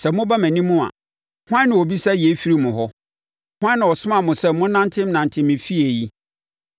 Sɛ moba mʼanim a hwan na ɔbisa yei firi mo hɔ? Hwan na ɔsomaa mo sɛ monnantenante me efie yi?